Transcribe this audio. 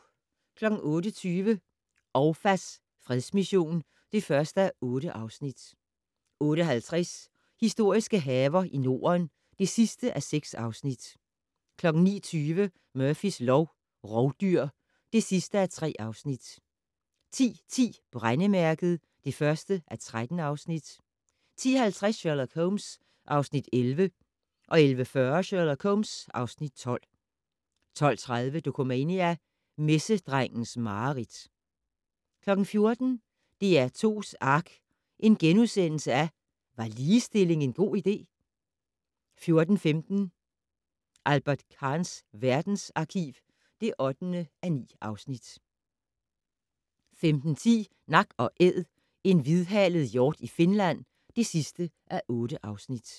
08:20: Ouafas fredsmission (1:8) 08:50: Historiske haver i Norden (6:6) 09:20: Murphys lov: Rovdyr (3:3) 10:10: Brændemærket (1:13) 10:50: Sherlock Holmes (Afs. 11) 11:40: Sherlock Holmes (Afs. 12) 12:30: Dokumania: Messedrengens mareridt 14:00: DR2's ARK - Var ligestilling en god idé? * 14:15: Albert Kahns verdensarkiv (8:9) 15:10: Nak & Æd - en hvidhalet hjort i Finland (8:8)